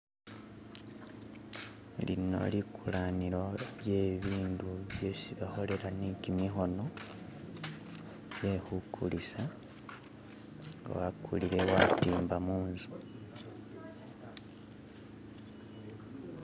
Lino likulanilo lye ibindu byesi bakholela neki mikhono bye khukulisa nga wakulile watimba munzu.